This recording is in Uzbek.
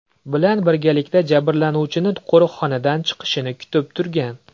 bilan birgalikda jabrlanuvchini qo‘riqxonadan chiqishini kutib turgan.